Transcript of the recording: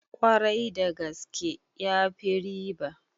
Kwarai da gaske, yafi riba